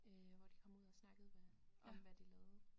Øh hvor de kom ud og snakkede med om hvad de lavede